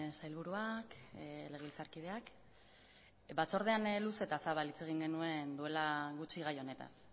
sailburuak legebiltzarkideak batzordean luze eta zabal hitz egin genuen duela gutxi gai honetaz